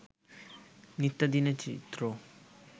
নিত্যদিনের চিত্র